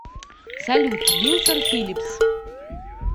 салют вилсон филлипс